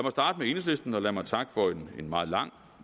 lad mig lad mig takke for en meget lang